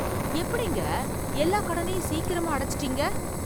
எப்படிங்க எல்லா கடனையும் சீக்கிரமா அடைச்சுடீங்க!